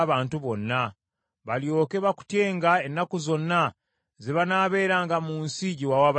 balyoke bakutyenga ennaku zonna ze banaabeeranga mu nsi gye wawa bajjajjaffe.